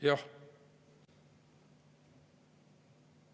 Jah.